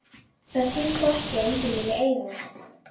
Það þýðir þó ekki að enginn vilji eiga það.